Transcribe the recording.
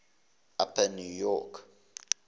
upper new york